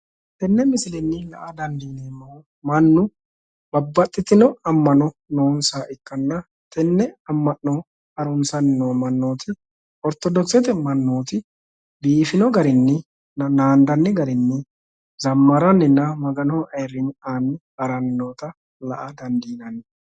Tenne misilenni la'a dandiineemmohu mannu babbaxxitino ammano noonsaha ikkanna tenne amma'no harunsanni no mannooti orittodokisete mannooti biifino garinni naandanni garinni zammaranninna maganoho ayyrinye aanni haranni noota la'a dandiinanni.